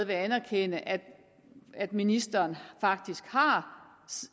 vil anerkende at at ministeren